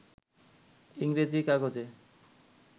ইংরেজি-কাগজে